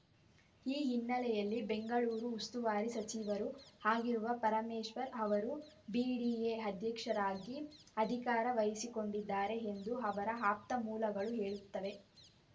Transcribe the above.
ಈ ಹಿನ್ನೆಲೆಯಲ್ಲಿ ಬೆಂಗಳೂರು ಉಸ್ತುವಾರಿ ಸಚಿವರೂ ಆಗಿರುವ ಪರಮೇಶ್ವರ್‌ ಅವರು ಬಿಡಿಎ ಅಧ್ಯಕ್ಷರಾಗಿ ಅಧಿಕಾರ ವಹಿಸಿಕೊಂಡಿದ್ದಾರೆ ಎಂದು ಅವರ ಆಪ್ತ ಮೂಲಗಳು ಹೇಳುತ್ತವೆ